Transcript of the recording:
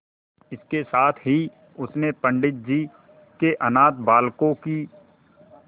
इसके साथ ही उसने पंडित जी के अनाथ बालकों की